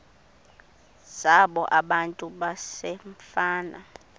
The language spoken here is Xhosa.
zabo abantu basefama